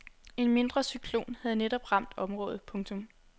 En mindre cyklon havde netop ramt området. punktum